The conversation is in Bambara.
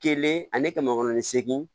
Kelen ani kɛmɛ kɔnɔntɔn ni segin